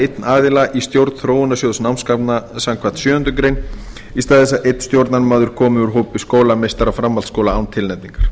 einn aðila í stjórn þróunarsjóðs námsgagna samkvæmt sjöundu greinar í stað þess að einn stjórnarmaður komi úr hópi skólameistara framhaldsskóla án tilnefningar